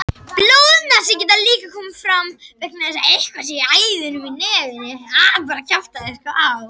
Blóðnasir geta líka komið fram vegna þess að eitthvað sé að æðunum í nefinu.